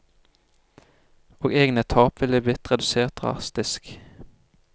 Og egne tap ville blitt redusert drastisk.